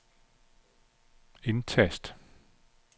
indtast